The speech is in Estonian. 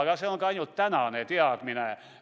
Aga see on ainult tänane teadmine.